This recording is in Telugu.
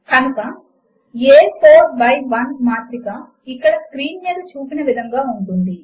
కనుక a 4 బై 1 మాత్రిక ఇక్కడ స్క్రీన్ మీద చూపిన విధముగా ఉంటుంది